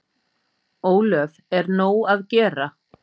Ólöf: Er nóg að gera?